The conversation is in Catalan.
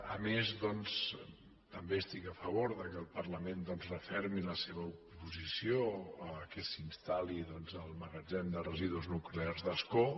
a més doncs també estic a favor que el parlament refermi la seva oposició al fet que s’instal·li el magatzem de residus nuclears d’ascó